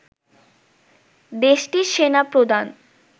দেশটির সেনা প্রধান